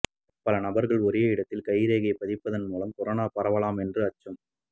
பல நபர்கள் ஒரே இடத்தில் கைரேகையை பதிப்பதன் மூலம் கொரோனா பரவலாம் என்று அச்சம்